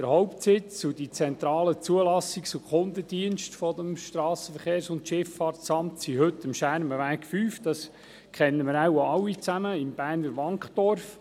Der Hauptsitz und die zentralen Zulassungs- und Kundendienste des SVSA sind heute am Schermenweg 5 im Berner Wankdorf untergebracht.